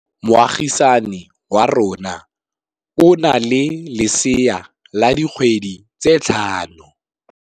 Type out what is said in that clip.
Moagisane wa rona o na le lesea la dikgwedi tse tlhano.